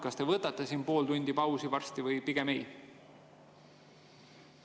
Kas te võtate siin varsti pool tundi pausi või pigem ei?